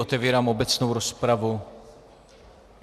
Otevírám obecnou rozpravu.